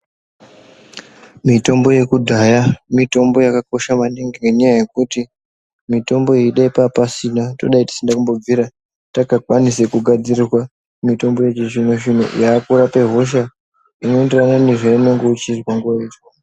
Mitombo yekudhaya mitombo yakakosha maningi ngenyaya yekuti mitombo iyi dai papasina todai tisina kumbobvira takakwanisa kugadzirirwa mitombo yechizvino zvino yakurape hosha zvinoenderana nezvaunenge uchizwa nguwa yacho.